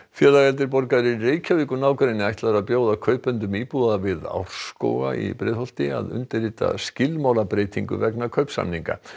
félag eldri borgara í Reykjavík og nágrenni ætlar að bjóða kaupendum íbúða við Árskóga að undirrita skilmálabreytingu vegna kaupsamninga